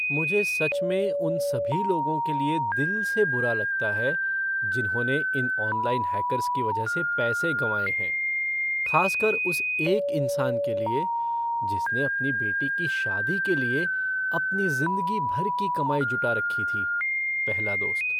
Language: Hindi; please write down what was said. मुझे सच में उन सभी लोगों के लिए दिल से बुरा लगता है जिन्होंने इन ऑनलाइन हैकर्स की वजह से पैसे गंवाए हैं, खासकर उस एक इंसान के लिए जिसने अपनी बेटी की शादी के लिए अपनी ज़िंदगी भर की कमाई जुटा रखी थी। पहला दोस्त